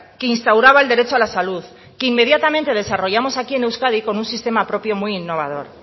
que instauraba el derecho a la salud que inmediatamente desarrollamos aquí en euskadi con un sistema propio muy innovador